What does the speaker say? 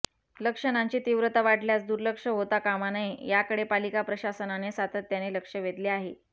लक्षणांची तीव्रता वाढल्यास दुर्लक्ष होता कामा नये याकडे पालिका प्रशासनाने सातत्याने लक्ष वेधले आहे